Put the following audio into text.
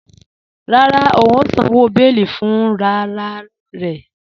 Rárá, ó ǹ sàn owo bẹ̀ẹlí fúnrararẹ̀